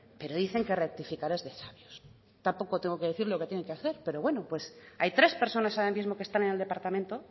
pero dicen que rectificar es de sabios tampoco tengo que decirle lo que tienen que hacer pero bueno pues hay tres personas ahora mismo que están en el departamento